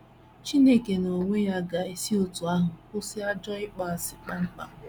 Chineke n’onwe ya ga - esi otú ahụ kwụsị ajọ ịkpọasị kpam kpam.